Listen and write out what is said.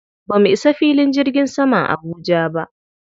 Ba mu isa filin jirgin saman Abuja ba.